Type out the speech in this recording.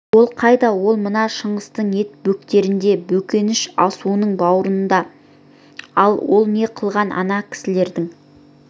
ол қайда ол мына шыңғыстың ет бөктерінде бөкенші асуының бауырында ал ол не қылған ана кісілердің